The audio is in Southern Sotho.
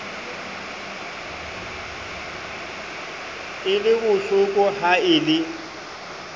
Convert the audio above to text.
e le bohlokoha e le